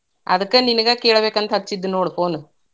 ಅದ್ಕ ನಿನಗ ಕೇಳ್ಬೇಕ್ ಅಂತ ಹಚ್ಚಿದ್ ನೋಡ್ phone .